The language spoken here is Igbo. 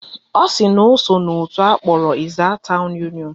Ọ sị na o so n'òtù akpọrọ Ezza town union a